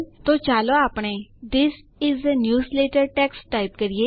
તો ચાલો આપણે this is a newsletter text type કરીએ